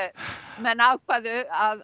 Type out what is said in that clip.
menn ákváðu að